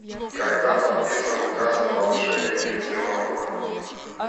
когда подписан указ о повышении пенсионного